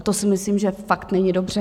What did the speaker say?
A to si myslím, že fakt není dobře.